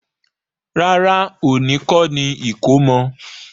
Rárá, òní kọ́ni ìkómọ.